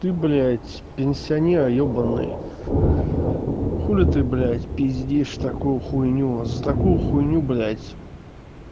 ты блять пенсионер ебанный хули ты блять пиздиш такую хуйню за такую хуйню блядь